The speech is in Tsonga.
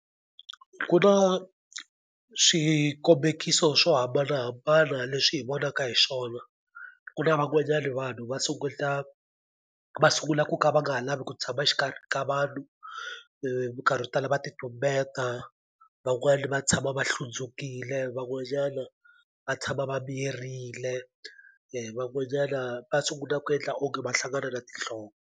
Ku na swikombekiso swo hambanahambana leswi hi vonaka hi swona ku na van'wanyani vanhu va sunguta va sungula ku ka va nga ha lavi ku tshama xikarhi ka vanhu minkarhi yo tala va ti tumbeta van'wani va tshama va hlundzukile van'wanyana va tshama va miyerile van'wanyana va sungula ku endla onge va hlangana na tinhloko.